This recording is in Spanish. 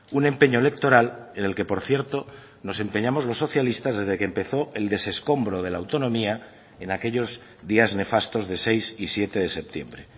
un empeño electoral en el que por cierto nos empeñamos los socialistas desde que empezó el desescombro de la autonomía en aquellos días nefastos de seis y siete de septiembre